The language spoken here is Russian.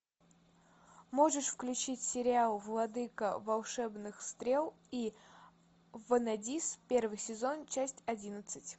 можешь включить сериал владыка волшебных стрел и ванадис первый сезон часть одиннадцать